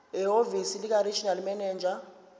ehhovisi likaregional manager